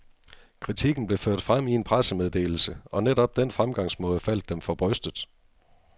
Kritikken blev ført frem i en pressemeddelse, og netop den fremgangsmåde faldt dem for brystet.